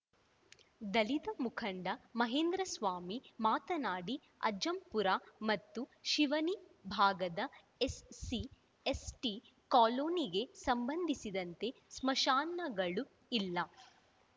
ದಲಿತ ಮುಖಂಡ ಮಹೇಂದ್ರಸ್ವಾಮಿ ಮಾತನಾಡಿ ಅಜ್ಜಂಪುರ ಮತ್ತು ಶಿವನಿ ಭಾಗದ ಎಸ್‌ಸಿ ಎಸ್‌ಟಿ ಕಾಲೋನಿಗೆ ಸಂಬಂಧಿಸಿದಂತೆ ಸ್ಮಶಾನಗಳು ಇಲ್ಲ